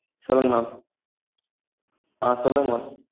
சொல்லுங்க maam ஆஹ் சொல்லுங்க maam